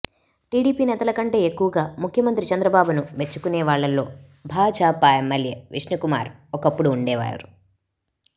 TDP నేతలకంటే ఎక్కువగా ముఖ్యమంత్రి చంద్రబాబును మెచ్చుకునేవాళ్లలో భాజపా ఎమ్మెల్యే విష్ణుకుమార్ ఒకప్పుడు ఉండేవారు